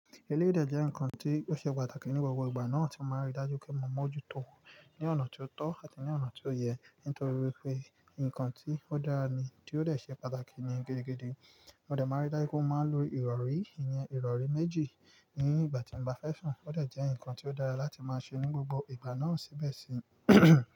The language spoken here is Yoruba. Elédè jẹ́ ǹkan tí ó ṣe pàtàkì ní gbogbo ìgbà náà tí ó máa ń rí i dájú pé mo mọ̀ọ́jútó ní ọ̀nà tí ó tọ́ àti ní ọ̀nà tí ó yẹ, nítorí pé ǹkan tí ó dára ni tí ó dẹ̀ ṣe pàtàkì ni gẹ́gẹ́ gẹ́gẹ́. Mo dẹ̀ máa ń rí dájú pé mo máa ń lo ìrọ̀rí, ìyẹn ìrọ̀rí méjì ní ìgbà tí mo bá fẹ́ sùn. Ó dẹ̀ jẹ́ ǹkan tí ó dára láti máa ṣe ní gbogbo ìgbà náà síbẹ̀ sí.